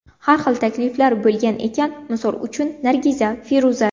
Har xil takliflar bo‘lgan ekan, misol uchun Nargiza, Feruza.